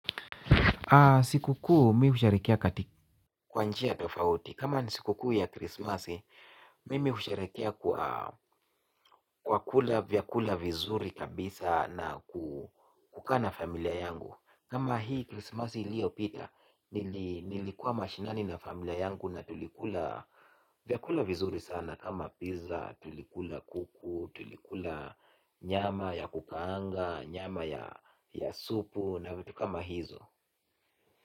Siku kuu mi husherekea katika kwa njia tofauti. Kama ni siku kuu ya krismasi, mimi husherekea kwa kukula vyakula vizuri kabisa na kukaa na familia yangu. Kama hii krismasi iliyopita, nilikuwa mashinani na familia yangu na tulikula vyakula vizuri sana. Kama pizza, tulikula kuku, tulikula nyama ya kukaanga, nyama ya supu na vitu kama hizo.